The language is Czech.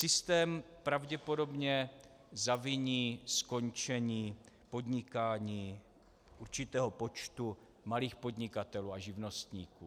Systém pravděpodobně zaviní skončení podnikání určitého počtu malých podnikatelů a živnostníků.